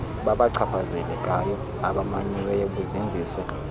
babachaphazelekayo abamanyiweyo buzinzise